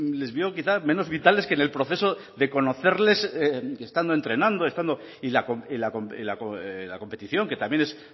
les vio quizá menos vitales que en el proceso de conocerles que estando entrenando estando y la competición que también es